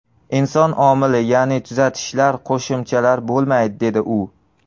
Inson omili, ya’ni tuzatishlar, qo‘shimchalar bo‘lmaydi”, dedi u.